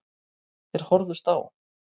Þeir horfðust á.